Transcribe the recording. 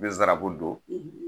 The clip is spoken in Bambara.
N be zarabu don